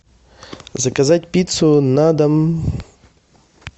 заказать пиццу на дом